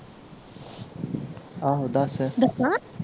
ਆਹੋ ਦੱਸ ਦੱਸਾਂ